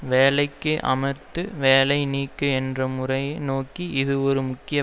வேலைக்கு அமர்த்து வேலை நீக்கு என்ற முறையை நோக்கி இது ஒரு முக்கிய